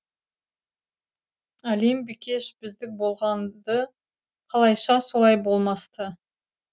әлем бикеш біздік болған ды қалайша солай болмас ты